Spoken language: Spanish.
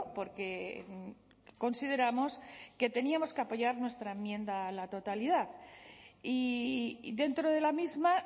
porque consideramos que teníamos que apoyar nuestra enmienda a la totalidad y dentro de la misma